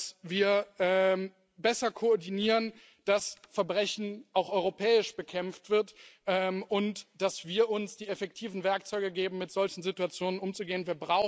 Dass wir besser koordinieren, dass Verbrechen auch europäisch bekämpft wird und dass wir uns die effektiven Werkzeuge geben, mit solchen Situationen umzugehen.